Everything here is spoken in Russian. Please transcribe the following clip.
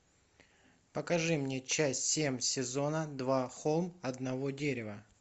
покажи мне часть семь сезона два холм одного дерева